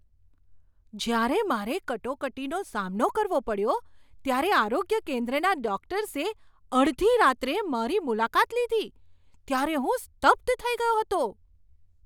જ્યારે મારે કટોકટીનો સામનો કરવો પડ્યો ત્યારે આરોગ્ય કેન્દ્રના ડોકટર્સે અડધી રાત્રે મારી મુલાકાત લીધી ત્યારે હું સ્તબ્ધ થઈ ગયો હતો.